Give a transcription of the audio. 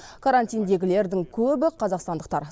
карантиндегілердің көбі қазақстандықтар